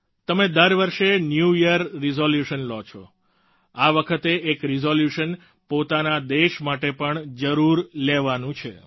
તમે દર વર્ષે ન્યૂ યીયર રિઝોલ્યુશન્સ લ્યો છો આ વખતે એક રિઝોલ્યુશન પોતાના દેશ માટે પણ જરૂર લેવાનું છે